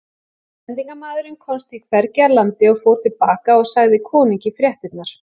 Sendimaðurinn komst því hvergi að landi og fór til baka og sagði konungi fréttirnar.